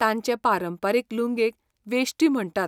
तांचे पारंपारीक लुंगेक वेश्टी म्हणटात.